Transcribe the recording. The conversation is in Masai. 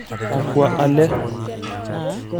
Akwa ale?